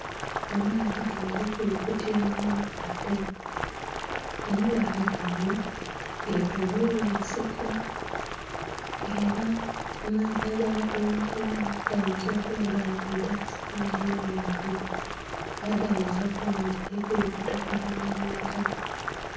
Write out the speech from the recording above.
Amaadhi gali kulukutira mu mabaale, amabaale gano getoloirwa ensiko nga era amaadhi agali kulumukiramu gayinza okuba gali kwidha ku supiidi nnhingi era gayinza okuba nga gali kulukuta kugya mu mwiga.